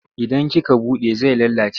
Idan kika buɗe zai lalace.